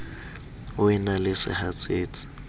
o e na le sehatsetsi